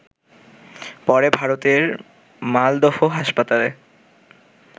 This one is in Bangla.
পরে ভারতের মালদহ হাসপাতালে